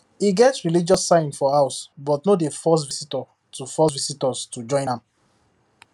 he get religious signs for house but no dey force visitors to force visitors to join am